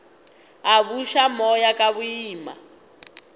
a buša moya ka boima